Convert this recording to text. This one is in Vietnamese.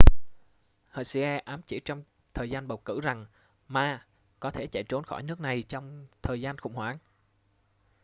hsieh ám chỉ trong thời gian bầu cử rằng ma có thể sẽ chạy trốn khỏi nước này trong thời gian khủng hoảng